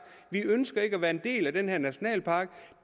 vi ønsker ikke at være en del af den her nationalpark